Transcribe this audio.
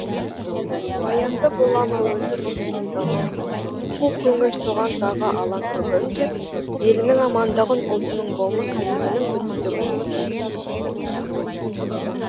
баянды бола ма өзі бостандығым қу көңіл соған тағы алаң бүгін деп елінің амандығын ұлтының болмыс бітімінің бүтіндігін тілейді